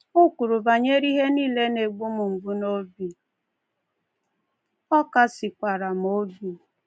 O kwuru banyere ihe nile na-egbu m mgbu n’obi, ọ kasikwara m obi."